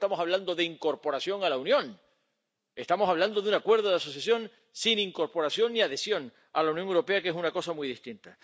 Porque no estamos hablando de incorporación a la Unión, estamos hablando de un acuerdo de asociación sin incorporación y adhesión a la Unión Europea, que es una cosa muy distinta.